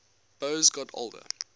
boas got older